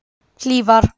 Hlífar